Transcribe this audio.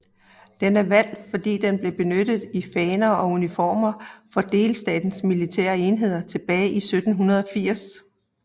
Den er valgt fordi den blev benyttet i faner og uniformer for delstatens militære enheder tilbage til 1780